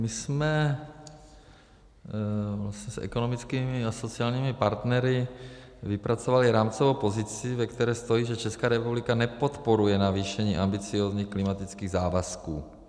My jsme s ekonomickými a sociálními partnery vypracovali rámcovou pozici, ve které stojí, že Česká republika nepodporuje navýšení ambiciózních klimatických závazků.